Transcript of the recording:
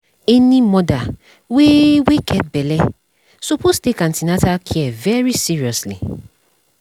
any mother wey wey get belle suppose take an ten atal care very seriously